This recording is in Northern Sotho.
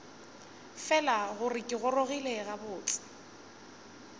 fela gore ke gorogile gabotse